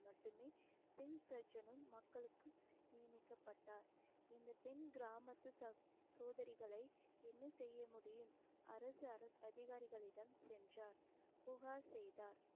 மட்டுமே சிங் சர்ஜனும் மக்களுக்கு நியமிக்கப்பட்டார் இந்த பெண் கிராமத்து சோதனைகளை என்ன செய்ய முடியும் அரசு அரசு அதிகாரிகளிடம் சென்றார் புகார் செய்தார்